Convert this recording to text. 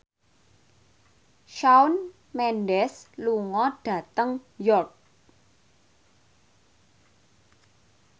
Shawn Mendes lunga dhateng York